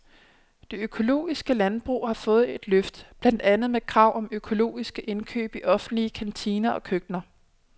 Det økologiske landbrug har fået et løft, blandt andet med krav om økologiske indkøb i offentlige kantiner og køkkener.